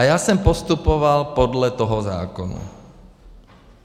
A já jsem postupoval podle toho zákona.